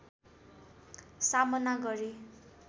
सामना गरे